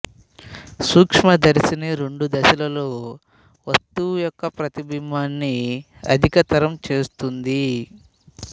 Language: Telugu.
సూక్ష్మదర్శిని రెండు దశలలో వస్తువు యొక్క ప్రతిబింబాన్ని అధికతరం చేస్తుంది